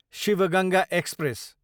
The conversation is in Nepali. शिव गङ्गा एक्सप्रेस